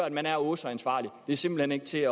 at man er åh så ansvarlig det er simpelt hen ikke til